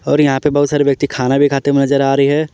और यहां पे बहुत सारे व्यक्ति खाना भी खाते हुए नजर आ रही है।